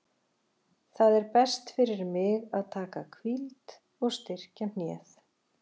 Það er best fyrir mig að taka hvíld og styrkja hnéð.